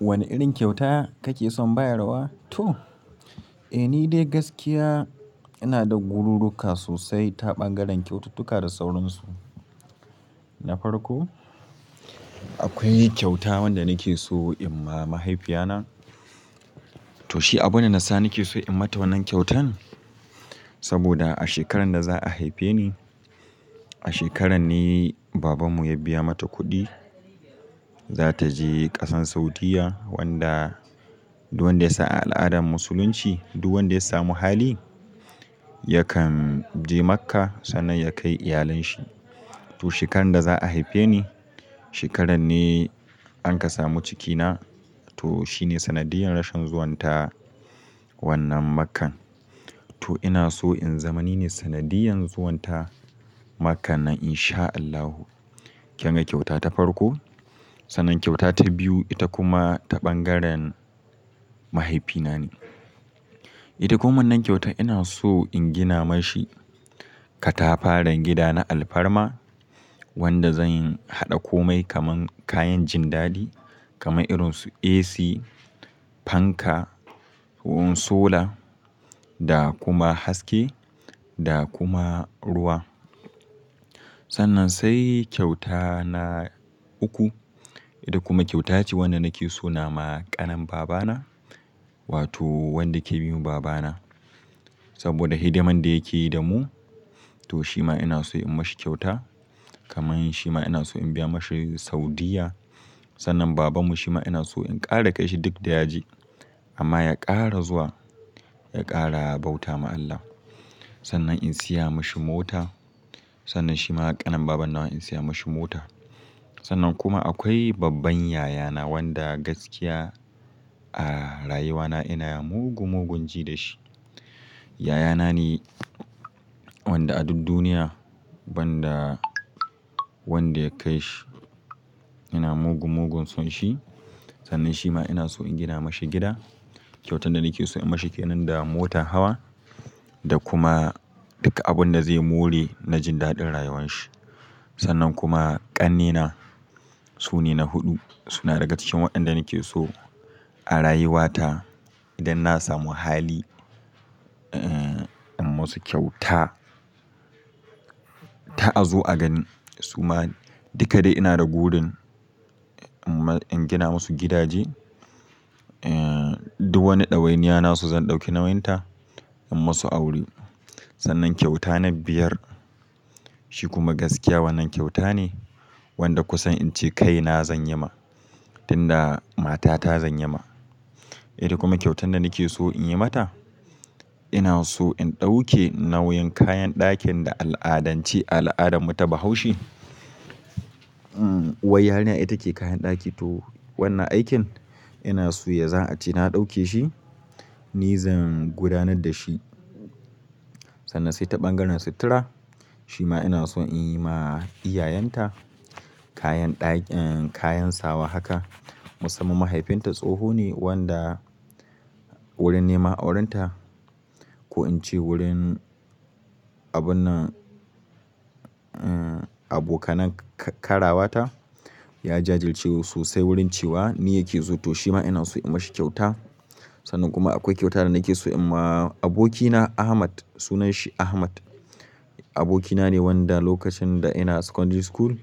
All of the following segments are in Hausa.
Wane irin kyauta kakeson bayarwa? Toh eh nidai gaskiya inada gururruka sosai ta ɓangaren kyaututtuka da saurinsu. Nafarko, akwai kyauta wanda nakeso inma mahaifiyana. To shi abunda nasa nakeso inmata wannan kyautan saboda a shekarar da za'a haifeni, a shekararne babanmu ya biya mata kuɗi za taje ƙasar Saudiyya wanda duk wanda yasan a al'adan musulunci duk wanda yasamu hali yakan je Makka sannan ya kai iyalanshi. To shekarar da za'a haifeni, shekarar ne ankasamu cikina to shine sanadiyan rashin zuwanta wannan makkan. To inaso in zama nine sanadiyan zuwanta makkan nan insha Allahu. Kana kyauta ta farko. Ta nan kyauta ta biyu ita kuma ta ɓangaren mahaifina ne. Ita kuma wannan kyauta ina so in gina mashi katafaren gida na alfarma wanda zan haɗa komai kaman kayan jindadi kaman irinsu AC, fanka, hun solar da kuma haske da kuma ruwa. Sannan sai kyauta na uku ita kuma kyauta ce wanda nake so na ma ƙanin babana wato wanda ke bin babana saboda hidimar da yake yi da mu to shima ina so in mashi kyauta kaman shima ina so in biya mashi Saudiyya. Sannan babanmu shima ina so in ƙara kai shi duk da yaje amma ya ƙara zuwa, ya ƙara bauta ma Allah. Sannan in siya mashi mota, sannan shima ƙanan babana ina so in siya mashi mota. Sannan kuma akwai babban yayana wanda gaskiya a rayuwana ina mugu-mugun ji da shi. Yayana ne wanda a duk duniya banda wanda ya kai shi ina mugu-mugun son shi. Sannan shima ina so in gina mashi gida. Kyautar da nake so in mashi ke nan da motan hawa da kuma duka abunda zai more na jindaɗin rayuwan shi. Sannan kuma ƙannena su ne na huɗu suna daga cikin waɗanda nake so a rayuwata idan na samu hali in musu kyauta ta a zo a gani suma dika dai ina da burin in gina masu gidaje eh duk wani ɗawainiya nasu zan ɗauki nawinta in musu aure. Sannan kyauta na biyar shi kuma gaskiya wannan kyauta ne wanda kusan ince kaina zanyi ma, tinda matata zanyi ma, ita kuma kyautar da nakeso inyi mata, ina so in dauke nauyin kayan dakin da al-adance al-adan mu na bahaushe. Uwar yarinya ita ke kayan ɗaki to wannan aikin ina so ya zan a ce na ɗauke shi ni zan gudanar da shi. Sannan sai ta ɓangaren sutura shima ina so in yi ma iyayenta kayan ɗaki, kayan sawa haka. Musamman mahaifinta tsoho ne wanda wurin nema auren ta, ko in ce wurin abunnan abokanann karawata ya jajircewu sosai wurin cewa ni yake so to shima ina so in mashi kyauta. Sannan kuma akwai kyauta da nake so in ma abokina Ahmad sunanshi Ahmad abokina ne wanda lokacin da ina secondary school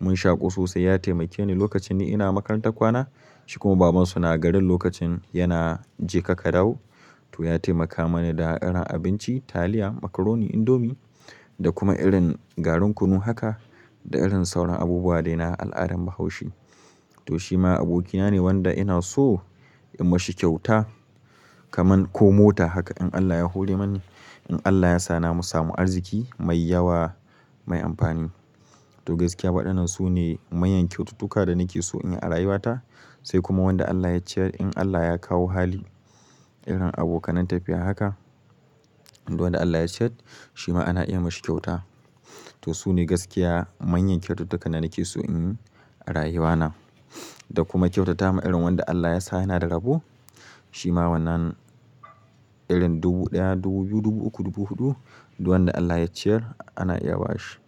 mun shaƙu sosai ya taimake ni lokacin ina makarantar kwana shi kuma babansu na garin lokacin yana jeka ka dawo, to ya taimaka mana da irin abinci taliya, macaroni, indomie da kuma irin garin kunu haka da irin sauran abubuwa daina al'adan Bahaushe. To shima abokina ne wanda ina so in mashi kyauta kaman ko mota haka in Allah ya hore mani in Allah yasa na samu arziki mai yawa mai amfani. To gaskiya waɗannan su ne manyan kyaututtuka da nake so in a rayuwata sai kuma wanda Allah ya ciyar in Allah ya kawo hali, irin abokanan tafiya haka duk wanda Allah ya ciyar shima ana iya mashi kyauta. To su ne gaskiya manyan kyaututtukan da nake so in yi a rayuwana da kuma kyautata ma irin wanda Allah yasa yana rabo shima wannan irin dubu ɗaya, dubu biyu, dubu uku, dubu huɗu duk wanda Allah ya ciyar ana iya ba shi.